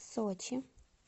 сочи